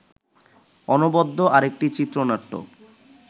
অনবদ্য আরেকটি চিত্রনাট্য